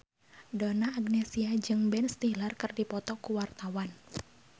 Donna Agnesia jeung Ben Stiller keur dipoto ku wartawan